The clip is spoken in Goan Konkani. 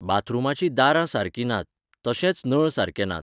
बाथरुमांचीं दारां सारकीं नात, तशेंच नळ सारके नात.